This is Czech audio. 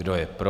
Kdo je pro?